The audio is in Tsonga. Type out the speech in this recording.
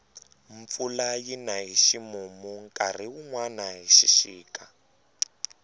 mpfula yina hi ximumu nkarhi wunwani hi xixika